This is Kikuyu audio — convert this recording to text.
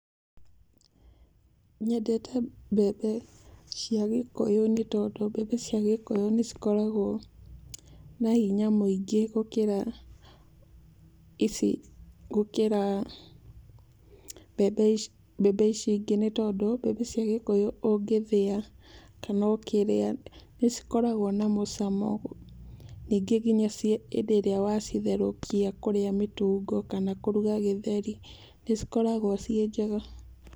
Nyendete mbembe cia gĩkũyũ nĩtondũ mbembe cia gĩkũyũ nĩ cikoragwo na hinya mũingĩ gũkĩra ici, gũkĩra mbembe ici, mbembe ici ingĩ nĩtondũ mbembe cia gĩkũyũ ũngĩthĩa kana ũkĩrĩa nĩ cikoragwo na mũcamo. Ningĩ nginya hĩndĩ ĩríĩ wacitherũkia kũrĩa mĩtungo kana kũruga gĩtheri, nĩ cikoragwo ciĩ njega.